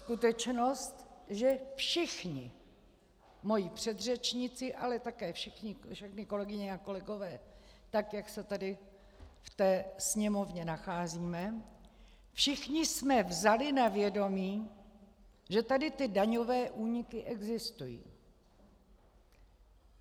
Skutečnost, že všichni moji předřečníci, ale také všechny kolegyně a kolegové, tak jak se tady v té sněmovně nacházíme, všichni jsme vzali na vědomí, že tady ty daňové úniky existují.